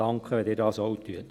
Danke, wenn Sie das auch tun.